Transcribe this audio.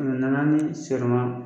Kɛmɛ na na ni sirɔma